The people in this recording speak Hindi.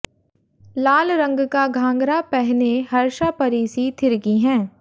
लाल रंग का घाघरा पहने हर्षा परी सी थिरकी हैं